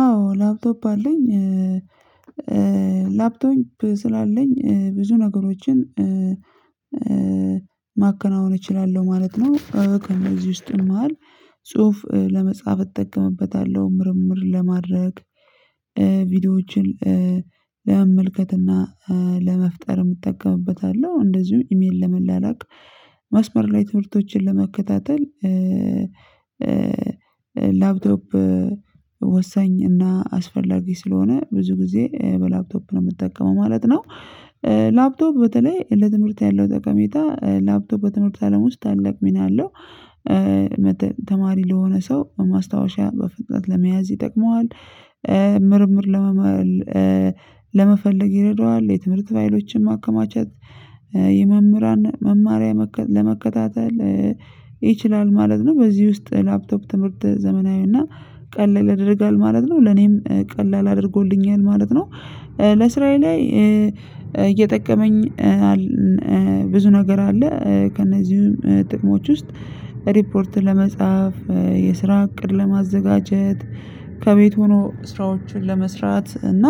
አዎ ላፕቶፕ አለኝ። ላፕቶፕ ስላለኝ ብዙ ነገሮችን ማከናወን እችላለሁ ማለት ነው። ከነዚህ ውስጥ መሃል ጽሁፍ ለመጻፍ እጠቀምበታለሁ። ምርምር ለማድረግ ቪዲዮዎችን ለመመልከትና ለመፍጠርም እጠቀምበታለሁ። እንደዚሁ ኢሜል ለመላላክ ማስመር ላይ ትምህርቶችን ለመከታተል። ላፕቶፕ ወሳኝ እና አስፈላጊ ስለሆነ ብዙ ጊዜ በላፕቶፕ ነው የምጠቀመው ማለት ነው። ላፕቶፕ በተለይ ለትምህርት ያለው ጠቀሜታ ላፕቶፕ በትምህርት አለም ውስጥ ታለቅ ሚና አለው። ተማሪ ለሆነ ሰው በማስታወሻ በፍጥነት ለመያዝ ይጠቅመዋል። ምርምር ለመመል ለመፈለግ ይረዳዋል የትምህርት ፋይሎችን ማከማቸት የመምህራን መማሪያ ለመከታተል ይችላል ማለት ነው። በዚህ ውስጥ ላፕቶፕ ትምህርት ዘመናዊና ቀለል ያደርጋል ማለት ነው ለኔም ቀላል አድርጎልኛል ማለት ነው። እስራዬ ላይ እየጠቀመኝ ብዙ ነገር አለ ከእነዚህም ጥቅሞች ውስጥ ሪፖርት ለመጻፍ የስራ እቅድ ለማዘጋጀት ከቤት ሆኖ ስራዎችን ለመስራት እና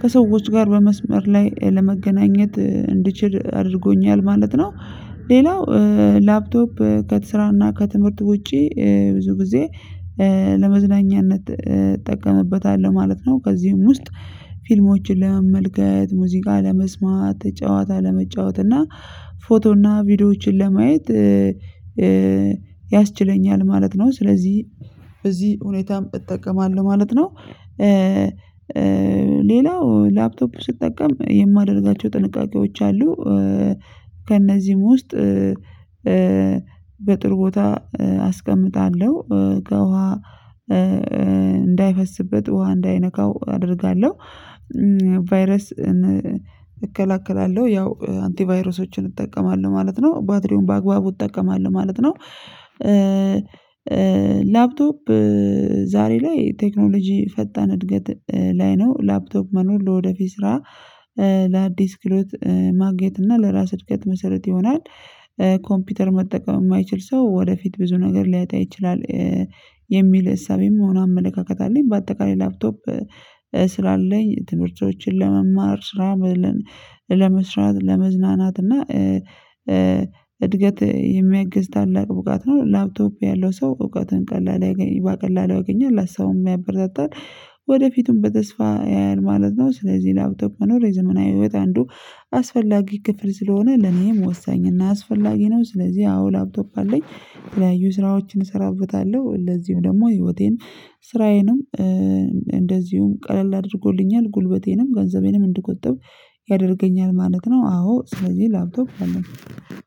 ከሰዎች ጋር በመስመር ላይ ለመገናኘት እንድችል አድርጎኛል። ማለት ነው ሌላው ላፕቶፕ ከት ስራና ከትምህርት ውጪ ብዙ ጊዜ ለመዝናኛነት እጠቀመበታለሁ ማለት ነው። ከዚህም ውስጥ ፊልሞችን ለመመልከት ሙዚቃ ለመስማት ጨዋታ ለመጫወት እና ፎቶ እና ቪዲዮዎችን ለማየት ያስችለኛል ማለት ነው። ስለዚህ በዚህ ሁኔታም እጠቀማለሁ ማለት ነው። ሌላው ላፕቶፕ ስትጠቀም የማደርጋቸው ጥንቃቄዎች አሉ። ከእነዚህም ውስጥ በጥሩ ቦታ አስቀምጣለሁ ከውሃ እንዳይፈስበት ውሃ እንዳይነካው አደርጋለሁ። ቫይረስ እከላከላለሁ ያው አንቲቫይረሶችን እጠቀማለሁ ማለት ነው። ባትሪውን በአግባቡ እጠቀማለሁ ማለት ነው። ላፕቶፕ ዛሬ ላይ ቴክኖሎጂ ፈጣን እድገት ላይ ነው። ላፕቶክ መኖር ለወደፊት ስራ ለአዲስ ክህሎት ማግኘት እና ለራስ እድገት መሰረት ይሆናል። ኮምፒውተር መጠቀም የማይችል ሰው ወደፊት ብዙ ነገር ሊያጣ ይችላል። የሚል እሳቤም ሆነ አመለካከት አለኝ። በአጠቃላይ ላፕቶፕ ስላለኝ ትምህርቶችን ለመማር ስራ ለመስራት ለመዝናናት እና እድገት የሚያግዝ ታላቅ እውቀት ነው። ላፕቶፕ ያለው ሰው እውቀትን ቀላል ቀላል ያገኛል ሀሳቡም የሚያበረታታል ወደፊቱም በተስፋ ያያል ማለት ነው። ስለዚህ ላፕቶፕ መኖር የዘመናዊ ህይወት አንዱ አስፈላጊ ክፍል ስለሆነ ለኔም ወሳኝ እና አስፈላጊ ነው። ስለዚህ አዎ ላፕቶፕ አለኝ የተለያዩ ስራዎችን እሰራበታለሁ ለዚሁ ደግሞ ህይወቴን ስራዬንም እንደዚሁም ቀለል አድርጎልኛል ጉልበቴንም ገንዘቤንም እንድትቆጥብ ያደርገኛል ማለት ነው። አዎ ስለዚህ ላፕቶፕ አለ